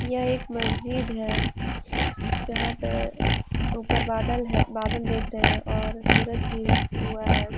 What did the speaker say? यह एक मस्जिद है यहाँ पे उपर बादल है बादल देख रहे हैं और सूरज भी हुआ है।